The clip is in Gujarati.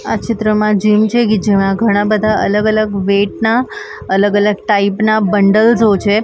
આ ચિત્રમાં જિમ છે જેમાં ઘણા બધા અલગ અલગ વેટ ના અલગ અલગ ટાઈપના બંડલઝૉ છે ઘણા બધા--